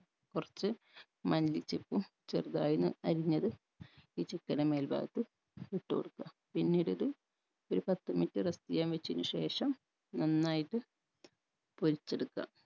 കൊർച്ച് മല്ലിച്ചപ്പും ചെറുതായൊന്ന് അരിഞ്ഞത് ഈ chicken ൻറെ മേൽഭാഗത്ത് ഇട്ട് കൊടുക്ക പിന്നീടൊരു ഒരു പത്ത് minute rest ചെയ്യാൻ വെച്ചേയ്ന് ശേഷം നന്നായിട്ട് പൊരിച്ചെടുക്ക